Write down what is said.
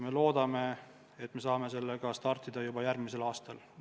Me loodame, et saame sellega startida juba järgmisel aastal.